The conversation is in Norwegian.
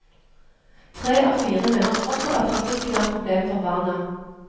Tre av fire mener fortsatt at trafikken er et problem for barna.